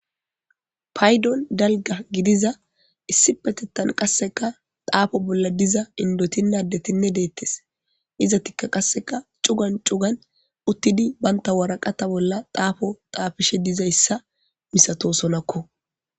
Paydon dalga gidiza issi petettan qasseka taafo bolla diza indotinaddetinne deettes izatikka qasseka cugan cugan uttidi baynta waraqata bolla taafo taafishe dizayssa misato sonakko.